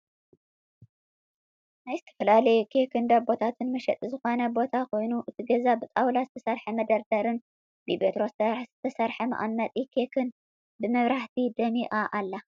ናይ ዝተፈላለዩ ኬክን ዳቦታትን መሸጢ ዝኮነ ቦታ ኮይኑ እቲ ገዛ ብጣውላ ዝተሰርሐ መደርደሪን ፣ ብቤትሮ ዝተሰርሐ መቀመጢ ኬክን ብመብራህቲ ደሚቃ ኣላ።